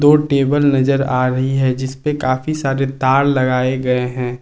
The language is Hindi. और टेबल नजर आ रही है जिस पे काफी सारे तार लगाए गए हैं।